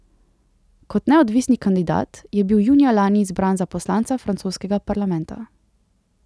Kot neodvisni kandidat je bil junija lani izbran za poslanca francoskega parlamenta.